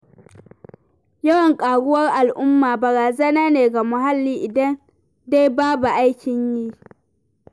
Yawan ƙaruwar al'umma barazana ne ga muhalli, idan dai babu aikin yi.